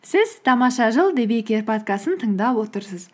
сіз тамаша жыл подкастын тыңдап отырсыз